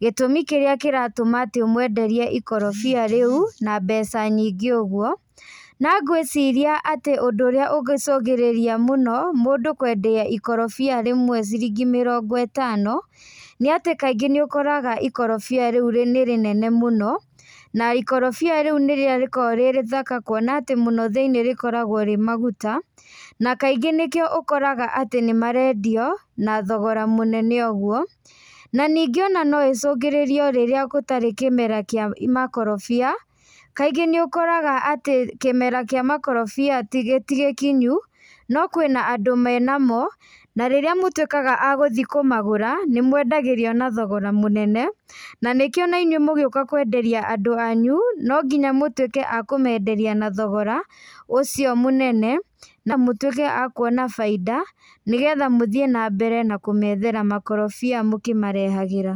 gĩtumi kĩrĩa kĩratũma atĩ ũmwenderie ikorobia riũ na mbeca nyingĩ ũguo, na ngwĩciria atĩ ũndũ ũrĩa ũngĩcũngĩrĩria mũno mũndũ kwendia ikorobia rĩmwe ciringi mĩrongo ĩtano, nĩatĩ kaingĩ nĩũkoraga ikorobia rĩu nĩrĩnene mũno, na ikorobia rĩũ nĩ rĩrĩa rĩkoragwo rĩ rĩthaka kuona atĩ mũno thinĩ rĩkoragwo rĩ maguta, na kaingĩ nĩkĩo ũkoraga atĩ nĩmarendio, na thogora mũnene ũguo, na nĩngĩ ona noĩcũngĩrĩrio rĩrĩa gũtarĩ kĩmera kia makorobia, kaingĩ nĩũkoraga atĩ kĩmera kĩa makorobia tigĩ tigĩkinyu, no kwĩna andũ menamo, na rĩrĩa mũtuĩkaga a gũthiĩ kũmagũra, nĩmwendagĩrio na thogora mũnene, na nĩkio nainyuĩ mũgiũka kwenderia andũ anyu, nonginya mũtuĩkee a kũmenderia na thogora, ũcio mũnene, na mũtuĩke a kuona bainda, nĩgetha mũthiĩ nambere na kũmethera makorobia mũkĩmarehagĩra.